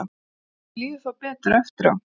Fólki líður þá betur eftir á.